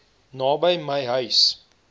naby my huis